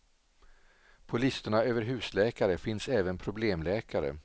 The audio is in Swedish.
På listorna över husläkare finns även problemläkare.